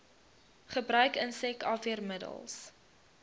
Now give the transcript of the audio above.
gebruik insek afweermiddels